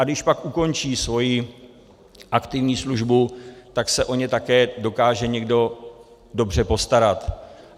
A když pak ukončí svoji aktivní službu, tak se o ně také dokáže někdo dobře postarat.